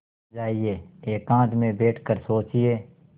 जाइए एकांत में बैठ कर सोचिए